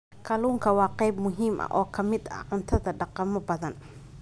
Kalluunku waa qayb muhiim ah oo ka mid ah cuntada dhaqamo badan.